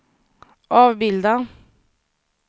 avbilda